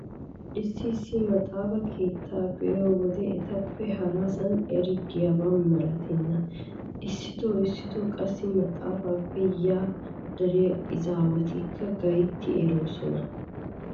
Issi issi maxaafa keettata be'iyo wode etappe harasan eri de'iyoba malatenna! Issitoo issitoo qassi maxaafaappe yaa dariya izaawatikka gaytti eroosona.